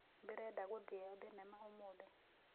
Ndĩrenda gũthĩe thĩnema ũmũthĩ